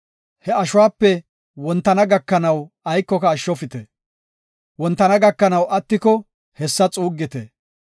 He ashuwape wontana gakanaw aykoka ashshofite. Wontana gakanaw attiko hessa xuuggite.